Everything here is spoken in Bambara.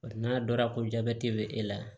N'a dɔnra ko jabɛti bɛ e la